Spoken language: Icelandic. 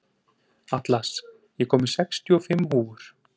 Atlas, ég kom með sextíu og fimm húfur!